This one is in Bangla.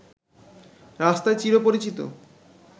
রাস্তায় চিরপরিচিত